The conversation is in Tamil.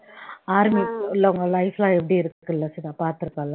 army உள்ளவங்க life லாம் எப்படி இருக்குல்ல சுதா பார்த்திருப்பல்ல